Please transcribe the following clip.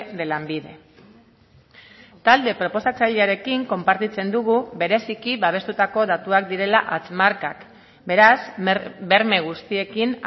de lanbide talde proposatzailearekin konpartitzen dugu bereziki babestutako datuak direla hatz markak beraz berme guztiekin